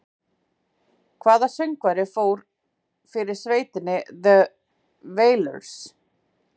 Hvaða söngvari fór fyrir sveitinni The Wailers?